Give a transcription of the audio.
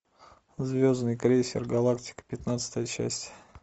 звездный крейсер галактика пятнадцатая часть